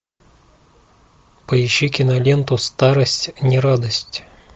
поищи киноленту старость не радость